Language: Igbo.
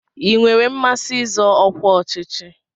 Ị nwere mmasị izọ ọkwa ọchịchị?